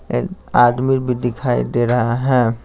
एक आदमी भी दिखाई दे रहा है।